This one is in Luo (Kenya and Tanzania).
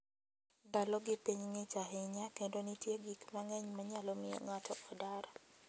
Ndalogi piny ng'ich ahinya kendo nitie gik mang'eny manyalo miyo ng'ato odar.